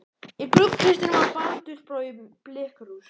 Í gluggakistunni var baldursbrá í blikkkrús.